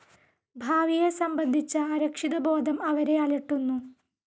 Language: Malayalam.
ഭാവിയെ സംബന്ധിച്ച അരക്ഷിതബോധം അവരെ അലട്ടുന്നു.